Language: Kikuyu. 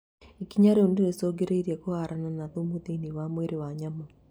Ikinya rĩu nĩrĩcongĩrĩirie kũhũrana na thumu thĩinĩ wa mwĩrĩ wa nyamũ